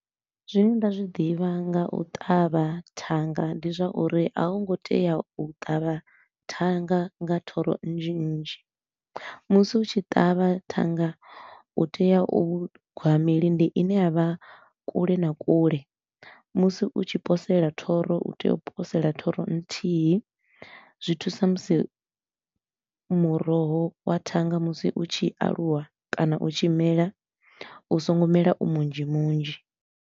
Zwine nda zwi ḓivha nga u ṱavha thanga ndi zwa uri a hu ngo tea u ṱavha thanga nga thoro nnzhi nnzhi. Musi u tshi ṱavha thanga u tea u gwa milindi i ne ya vha kule na kule, musi u tshi posela thoro u tea u posela thoro nthihi, zwi thusa musi muroho wa thanga musi u tshi aluwa kana u tshi mela u so ngo mela u munzhi munzhi.